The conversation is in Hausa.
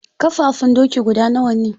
Ƙafafun doki guda nawa ne?